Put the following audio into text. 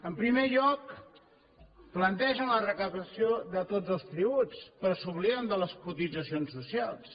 en primer lloc plantegen la recaptació de tots els tributs però s’obliden de les cotitzacions socials